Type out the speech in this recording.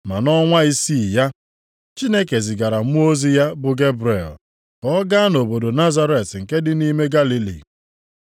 Ma nʼọnwa isii ya, Chineke zigara mmụọ ozi ya, bụ Gebrel, ka ọ gaa nʼobodo Nazaret nke dị nʼime Galili.